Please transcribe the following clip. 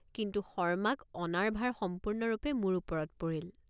কিন্তু শৰ্মাক অনাৰ ভাৰ সম্পূৰ্ণৰূপে মোৰ ওপৰত পৰিল।